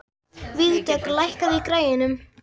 Vígdögg, lækkaðu í græjunum.